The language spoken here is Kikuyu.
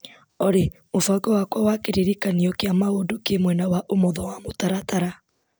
Olĩ mũbango wakwa wa kĩririkanio kia maũndũ kĩ mwena wa ũmotho wa mũtaratara